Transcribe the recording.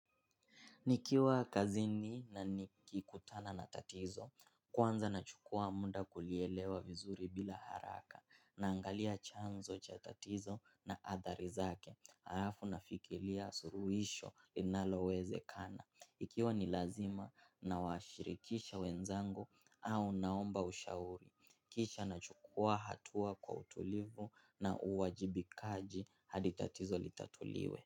Nikiwa kazini na nikikutana na tatizo, kwanza nachukua muda kulielewa vizuri bila haraka, naangalia chanzo cha tatizo na adhari zake, alafu nafikiria suluhisho linalowezekana. Ikiwa ni lazima nawashirikisha wenzangu au naomba ushauri, kisha nachukua hatua kwa utulivu na uwajibikaji hadi tatizo litatuliwe.